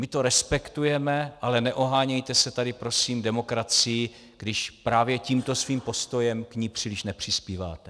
My to respektujeme, ale neohánějte se tady prosím demokracií, když právě tímto svým postojem k ní příliš nepřispíváte.